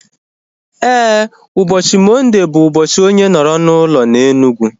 Éè, ụbọchị Mọnde bụ ụbọchị onye nọrọ n'ụlọ na Enugu